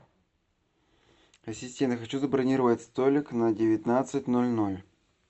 ассистент я хочу забронировать столик на девятнадцать ноль ноль